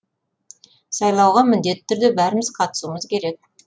сайлауға міндетті түрде бәріміз қатысуымыз керек